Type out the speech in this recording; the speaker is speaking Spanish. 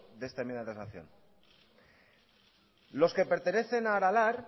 de esta enmienda de transacción los que pertenecen a aralar